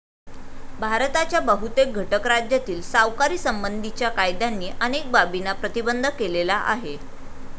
भारताच्या बहुतेक घटक राज्यातील सावकारीसंबंधीच्या कायद्यांनी अनेक बाबींना प्रतिबंध केलेला आहे.